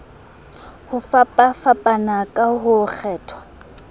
ho fapafapana ha ho kgethwa